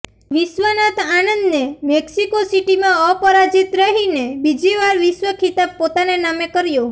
વિશ્વનાથન આનંદને મૈક્સિકો સિટીમાં અપરાજીત રહીને બીજીવાર વિશ્વ ખિતાબ પોતાને નામે કર્યો